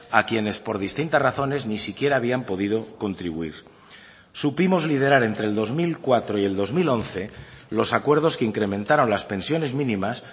a quienes por distintas razones ni siquiera habían podido contribuir supimos liderar entre el dos mil cuatro y el dos mil once los acuerdos que incrementaron las pensiones mínimas